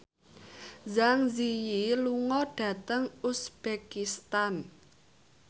Zang Zi Yi lunga dhateng uzbekistan